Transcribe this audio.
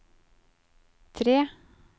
tre